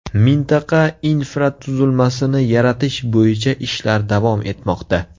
Mintaqa infratuzilmasini yaratish bo‘yicha ishlar davom etmoqda.